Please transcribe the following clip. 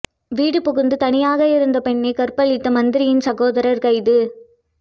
வீடு புகுந்து தனியாக இருந்த பெண்ணை கற்பழித்த மந்திரியின் சகோதரர் கைது